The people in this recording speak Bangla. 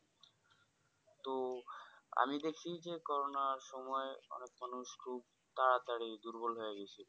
তো আমি দেখছি যে Corona সময় অনেক মানুষ খুব তাতারী দুর্বল হয়ে গেছিলো